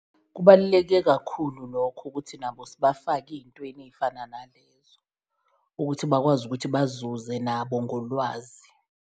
Kubaluleke kakhulu lokho ukuthi nabo sibafake eyintweni eyifana nalezo, ukuthi bakwazi ukuthi bazuze nabo ngolwazi.